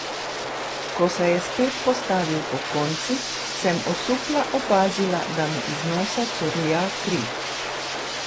Ko se je spet postavil pokonci, sem osupla opazila, da mu iz nosa curlja kri.